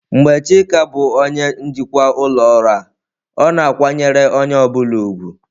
Mgbe Chika bụ onye njikwa ụlọ ọrụ a, ọ na-akwanyere onye ọ bụla ùgwù.